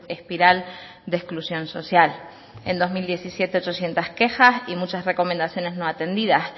espiral de exclusión social en dos mil diecisiete ochocientos quejas y muchas recomendaciones no atendidas